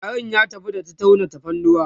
tarin ya tafi da ta tauna tafarnuwa